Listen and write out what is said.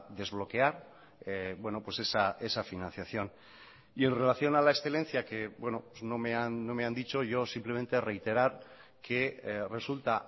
desbloquear esa financiación y en relación a la excelencia que no me han dicho yo simplemente reiterar que resulta